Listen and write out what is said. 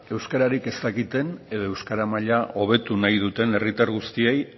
euskararik ez dakiten edo euskara maila hobetu nahi duten herritar guztiei